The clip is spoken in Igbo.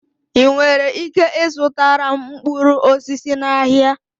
Ị nwere ike ịzụtara m mkpụrụ osisi n'ahịa?